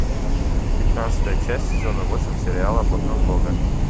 пятнадцатая часть сезона восемь сериала блокнот бога